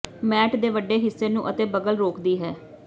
mat ਦੇ ਵੱਡੇ ਹਿੱਸੇ ਨੂੰ ਅਤੇ ਬਗਲ ਰੋਕਦੀ ਹੈ